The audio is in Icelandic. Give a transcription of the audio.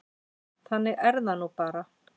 Þannig er það nú bara.